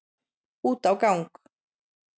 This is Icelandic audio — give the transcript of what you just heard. Út á gang.